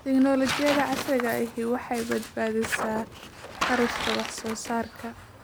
Tiknoolajiyada casriga ahi waxay badbaadisaa kharashka wax soo saarka.